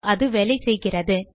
அது வேலை செய்கிறது